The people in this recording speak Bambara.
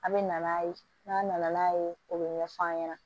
A bɛ na n'a ye n'a nana n'a ye o bɛ ɲɛ f'a ɲɛna